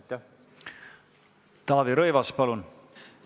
Taavi Rõivas, palun!